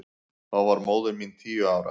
Þá var móðir mín tíu ára.